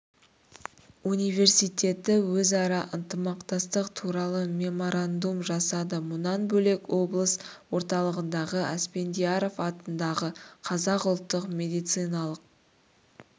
университеті өзара ынтымақтастық туралы меморандум жасады мұнан бөлек облыс орталығында асфендияров атындағы қазақ ұлттық медициналық